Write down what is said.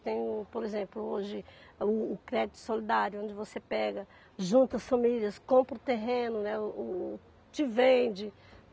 Tem, por exemplo, hoje o o crédito solidário, onde você pega, junta as famílias, compra o terreno, né o o te vende.